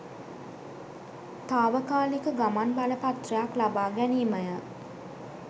තාවකාලික ගමන් බලපත්‍රයක් ලබා ගැනීමය.